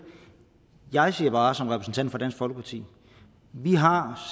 jeg siger bare som repræsentant for dansk folkeparti vi har